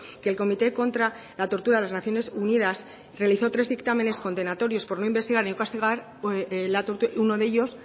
que el comité contra la tortura de las naciones unidas realizó tres dictámenes condenatorios por no investigar y no castigar uno de ellos